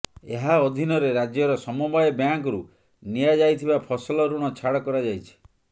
ଏହା ଅଧୀନରେ ରାଜ୍ୟର ସମବାୟ ବ୍ୟାଙ୍କରୁ ନିଆଯାଇଥିବା ଫସଲ ଋଣ ଛାଡ଼ କରାଯାଇଛି